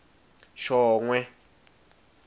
shongwe